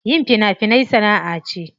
Yin fina finai sana'a ce.